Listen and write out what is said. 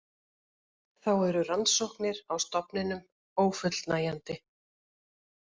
Þá eru rannsóknir á stofninum ófullnægjandi